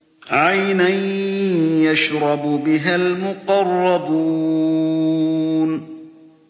عَيْنًا يَشْرَبُ بِهَا الْمُقَرَّبُونَ